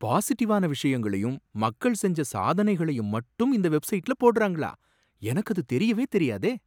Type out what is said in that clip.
பாசிட்டிவான விஷயங்களையும் மக்கள் செஞ்ச சாதனைகளையும் மட்டும் இந்த வெப்சைட்ல போடுறாங்களா எனக்கு அது தெரியவே தெரியாதே.